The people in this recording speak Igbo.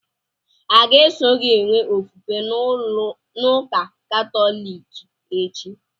Ọ ga-eso gị enwe ofufe n'ụka katọliki echi?